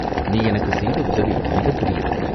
"நீ எனக்குச் செய்த உதவி மிகப்பெரியது.